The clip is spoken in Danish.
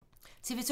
TV 2